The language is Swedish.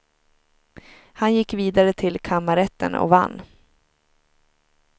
Han gick vidare till kammarrätten och vann.